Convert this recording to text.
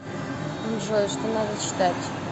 джой что надо читать